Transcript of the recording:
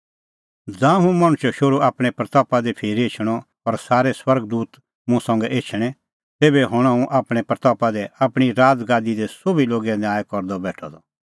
ज़ांऊं हुंह मणछो शोहरू आपणीं महिमां दी फिरी एछणअ और सारै स्वर्ग दूत मुंह संघै एछणैं तेभै हणअ हुंह आपणीं महिमां दी आपणीं राज़गादी दी सोभी लोगे न्याय करदअ बेठअ द